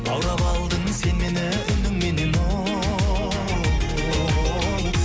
баурап алдың сен мені үніңменен оу